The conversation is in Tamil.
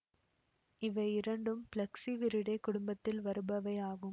இவை இரண்டும் பிலக்ஸ்சி விரிடே குடும்பத்தில் வருபவை ஆகும்